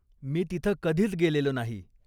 मी तिथं कधीच गेलेलो नाही.